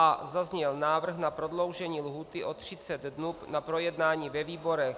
A zazněl návrh na prodloužení lhůty o 30 dnů na projednání ve výborech.